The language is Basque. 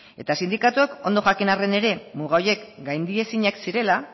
eta sindikatuek ondo jakin arren ere muga horiek gaindiezinak zirela